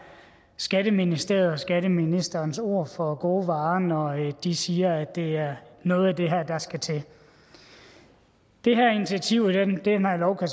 skatteministeriets og skatteministerens ord for gode varer når de siger at det er noget af det her der skal til det her initiativ i den her lov kan